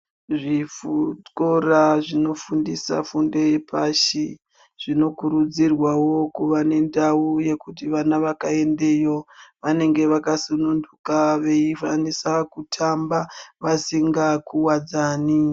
Zvikora zvinofundisa fundo yepashi zvinokurudzirwawo kuva nedawu yekuti vana vakaendeyo vanenge vakasununguka veyikwanisa kutamba vasinga kuwadzani.